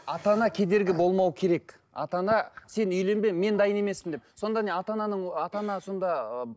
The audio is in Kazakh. ата ана кедергі болмау керек ата ана сен үйленбе мен дайын емеспін деп сонда не ата ананың ата ана сонда ы